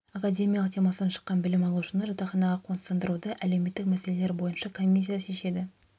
академиялық демалыстан шыққан білім алушыны жатақханаға қоныстандыруды әлеуметтік мәселелер бойынша комиссия шешеді